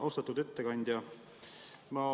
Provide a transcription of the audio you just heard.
Austatud ettekandja!